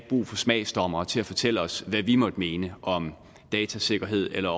brug for smagsdommere til at fortælle os hvad vi måtte mene om datasikkerhed eller